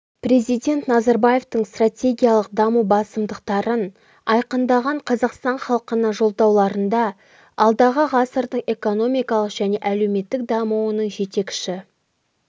президент назарбаевтың стратегиялық даму басымдықтарын айқындаған қазақстан халқына жолдауларында алдағы ғасырдың экономикалық және әлеуметтік дамуының жетекші